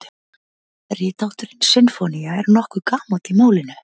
Rithátturinn sinfónía er nokkuð gamall í málinu.